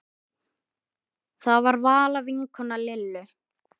Það var Vala vinkona Lillu.